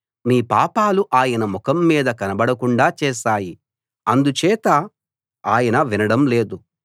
మీ పాపాలు ఆయన ముఖం మీకు కనబడకుండా చేశాయి అందుచేత ఆయన వినడం లేదు